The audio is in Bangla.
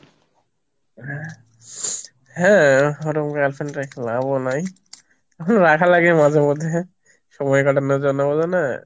হ্যাঁ ওরম girlfriend রেখে লাভও নাই, রাখা লাগে মাঝে মধ্যে সময় কাটানোর জন্য বুঝোনা?